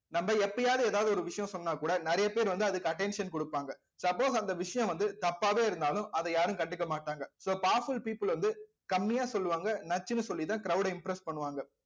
நம்ம எப்பயாவது ஏதாவது ஒரு விஷயம் சொன்னாக்கூட நிறைய பேர் வந்து அதுக்கு attention குடுப்பாங்க suppose அந்த விஷயம் வந்து தப்பாவே இருந்தாலும் அதை யாரும் கண்டுக்க மாட்டாங்க so powerful people வந்து கம்மியா சொல்லுவாங்க நச்சுன்னு சொல்லிதான் crowd ஐ impress பண்ணுவாங்க